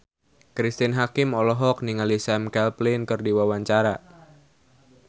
Cristine Hakim olohok ningali Sam Claflin keur diwawancara